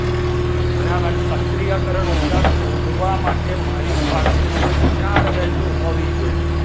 બરાબર સક્રિયકરણ ઊર્જા શોધવા માટે મારી પાસે કોઈ ચાર value હોવી જોઈએ.